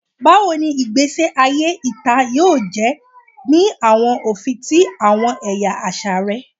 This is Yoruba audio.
Bawo ni igbesi aye ita yoo jẹ ni awọn ofin ti awọn ẹya aṣa rẹ?